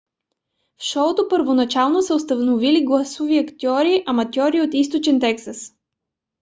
в шоуто първоначално са участвали гласови актьори аматьори от източен тексас